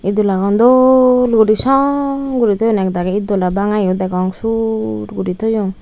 itdolagun dol guri song guri toyonne ekdagi itdola banga yo degong sur gori toyon.